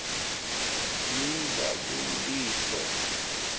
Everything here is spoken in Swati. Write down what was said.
yinjabuliso